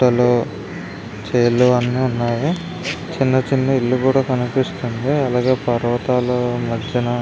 పుట్టలు చేలు అన్నీ ఉన్నాయి చిన్న చిన్న ఇల్లు కూడా కనిపిస్తుంది అలాగే పర్వతాల మధ్యన --